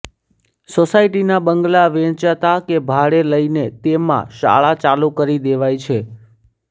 સોસાયટીના બંગલા વેચાતા કે ભાડે લઇને તેમાં શાળા ચાલુ કરી દેવાય છે